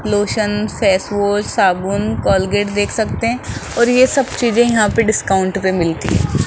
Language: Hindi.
लोशन फेस वाश साबुन कोलगेट देख सकते हैं और ये सब चीजें यहां पे डिस्काउंट पे मिलती हैं।